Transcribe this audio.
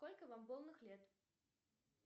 сколько вам полных лет